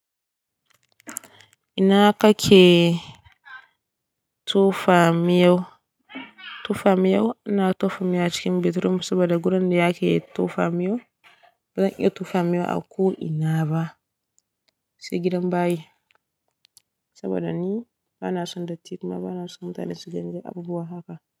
Ina kake tofamiyau? Ina tofamiyau? Ina tofamiyau a cikin bedroom saboda wurin da yake tofamiyau bazan iya tofamiyau a ko ina ba, sai gidan bayi saboda ni bana son dattin ma bana son mata da su gani da abubuwa haka.